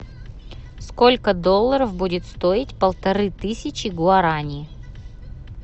сколько долларов будет стоить полторы тысячи гуарани